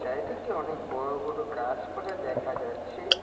চারিদিকে অনেক বড়ো বড়ো গাছপালা দেখা যাচ্ছে ।